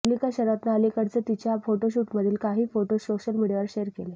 मल्लिका शेरावतनं अलीकडेच तिच्या फोटोशूटमधले काही फोटोज सोशल मीडियावर शेअर केले